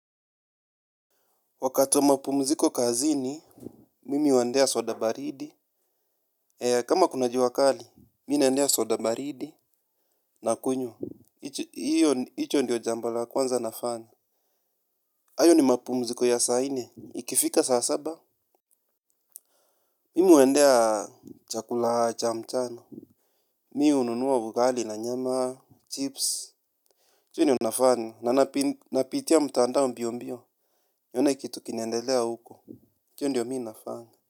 Wakati wa mapumziko kazini, mimi huendea soda baridi. Kama kuna jua kali, mimi naendea soda baridi. Nakunywa hicho ndiyo jambo la kwanza nafanya. Hayo ni mapumziko ya saa nne. Ikifika saa saba. Mimi huendea chakula cha mchana. Mimi hununua ugali na nyama, chips. Hicho ndiyo nafanya, na napitia mtandao mbio mbio. Nione kitu kinaendelea huko hicho ndiyo mimi nafanya.